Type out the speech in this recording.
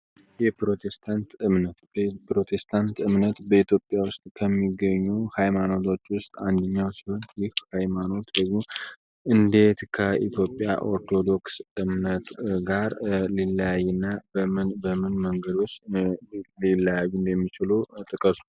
ፕሮቴስታንት እምነት በኢትዮጵያ ውስጥ ከሚገኙ ሃይማኖቶች ውስጥ አንድኛው ሲሆን ይህ ሃይማኖት በግ እንዴት ከኢትዮጵያ ኦርቶዶክስ እምነቱ ጋር ሊላይ እና በምን መንገዶች ሌላዩ እንደሚችሎ ጠቀሱ?